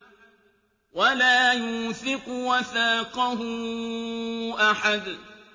وَلَا يُوثِقُ وَثَاقَهُ أَحَدٌ